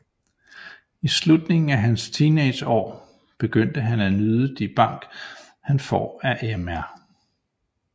I slutningen af hans teenageår begynder han at nyde de bank han får af mr